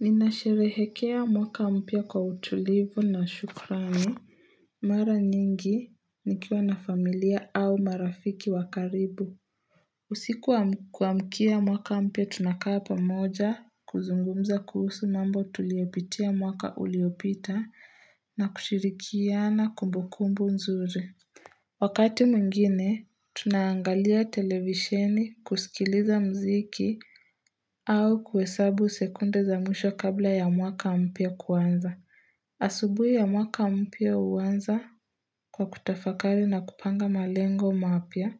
Ninasherehekea mwaka mpia kwa utulivu na shukrani Mara nyingi nikiwa na familia au marafiki wa karibu usiku wa kuamkia mwaka mpia tunakaa pamoja kuzungumza kuhusu mambo tuliyopitia mwaka uliopita na kushirikiana kumbukumbu nzuri Wakati mwingine, tunaangalia televisheni kusikiliza mziki au kuhesabu sekunde za mwisho kabla ya mwaka mpya kuanza. Asubuhi ya mwaka mpya huanza kwa kutafakari na kupanga malengo mapya,